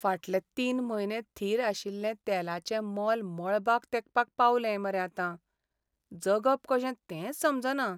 फाटले तीन म्हयने थीर आशिल्लें तेलाचें मोल मळबाक तेंकपाक पावलें मरे आतां. जगप कशें तेंच समजना.